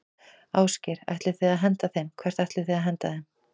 Ásgeir: Ætlið þið að henda þeim, hvert ætlið þið að henda þeim?